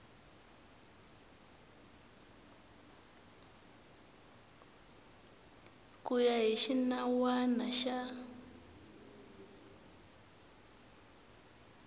ku ya hi xinawana xa